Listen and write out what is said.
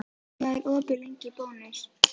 Magngeir, hvað er opið lengi í Bónus?